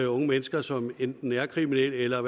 unge mennesker som enten er kriminelle eller